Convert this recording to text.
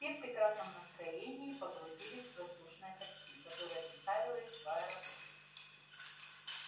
все в прекрасном настроении погрузились в воздушное такси которое доставило их в аэропорт